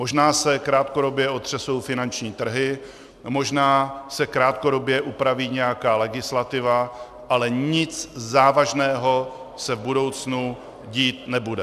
Možná se krátkodobě otřesou finanční trhy, možná se krátkodobě upraví nějaká legislativa, ale nic závažného se v budoucnu dít nebude.